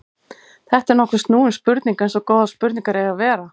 Þetta er nokkuð snúin spurning eins og góðar spurningar eiga að vera.